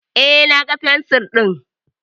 Eh, na ga fensir din